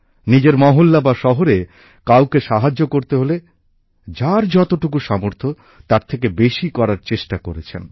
নিজের পাড়ায় বা শহরে কাউকে সাহায্য করতে হলে যার যতটুকু সামর্থ্য তার থেকে বেশি করার চেষ্টা করেছেন